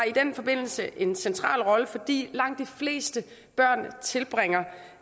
i den forbindelse en central rolle fordi langt de fleste børn tilbringer